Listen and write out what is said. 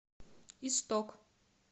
исток